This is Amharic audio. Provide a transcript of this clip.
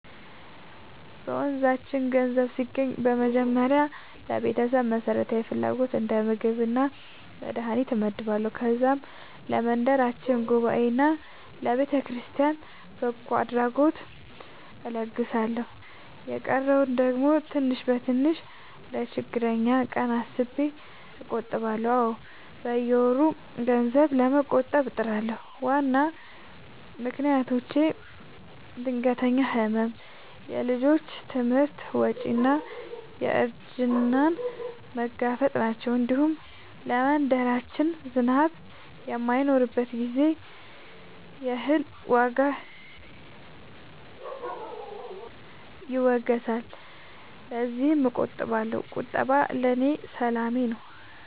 በመንዛችን ገንዘብ ሲገባኝ በመጀመሪያ ለቤተሰብ መሠረታዊ ፍላጎት እንደ ምግብና መድሀኒት እመድባለሁ። ከዛም ለመንደራችን ጉባኤና ለቤተክርስቲያን በጎ አድራጎት እለግሳለሁ። የቀረውን ደግሞ ትንሽ በትንሽ ለችግረኛ ቀን አስቤ እቆጥባለሁ። አዎ፣ በየወሩ ገንዘብ ለመቆጠብ እጥራለሁ። ዋና ምክንያቶቼ ድንገተኛ ሕመም፣ የልጆች ትምህርት ወጪ እና እርጅናን መጋፈጥ ናቸው። እንዲሁም ለመንደራችን ዝናብ በማይኖርበት ጊዜ የእህል ዋጋ ይወገሳልና ለዚያም እቆጥባለሁ። ቁጠባ ለእኔ ሰላም ነው።